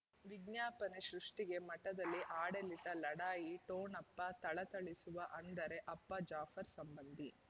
ವಿಜ್ಞಾಪನೆ ಸೃಷ್ಟಿಗೆ ಮಠದಲ್ಲಿ ಆಡಳಿತ ಲಢಾಯಿ ಠೊಣಪ ಥಳಥಳಿಸುವ ಅಂದರೆ ಅಪ್ಪ ಜಾಫರ್ ಸಂಬಂಧಿ